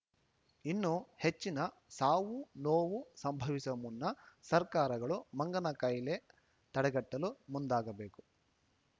ಇನ್ನೂ ಹೆಚ್ಚಿನ ಸಾವು ನೋವು ಸಂಭವಿಸುವ ಮುನ್ನ ಸರ್ಕಾರಗಳು ಮಂಗನ ಕಾಯಿಲೆ ತಡೆಗಟ್ಟಲು ಮುಂದಾಗಬೇಕು